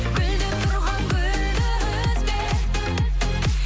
гүлдеп тұрған гүлді үзбе